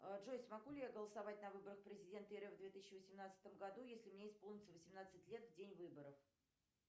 джой смогу ли я голосовать на выборах президента рф в две тысячи восемнадцатом году если мне исполнится восемнадцать лет в день выборов